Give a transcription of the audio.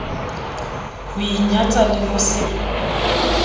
ho inyatsa le ho se